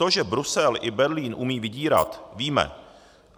To, že Brusel i Berlín umí vydírat, víme.